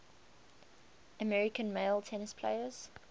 american male tennis players